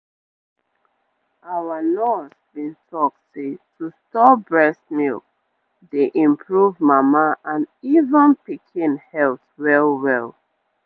our nurse been talk say to store breast milk dey improve mama and even pikin health well-well